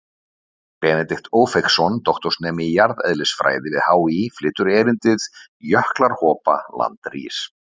Benedikt Ófeigsson, doktorsnemi í jarðeðlisfræði við HÍ, flytur erindið: Jöklar hopa, land rís.